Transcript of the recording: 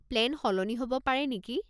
Plan সলনি হ'ব পাৰে নেকি?